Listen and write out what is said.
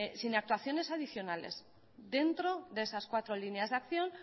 sin actuaciones adicionales dentro de esas cuatro líneas de acción